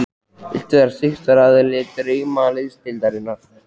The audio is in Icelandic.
Viltu vera styrktaraðili Draumaliðsdeildarinnar?